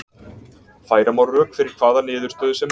Færa má rök fyrir hvaða niðurstöðu sem er.